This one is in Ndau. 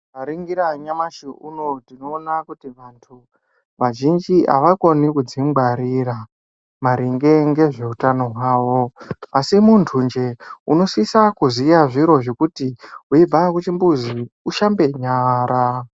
Tikaningira nyamashi unowu tinoona kuti vanthu vazhinji avakoni kudzingwarira maringe ngezveutano hwavo asi munthu njee unosisa kuziya zviro zvekuti weibva kuchimbuzi ushambe nyara.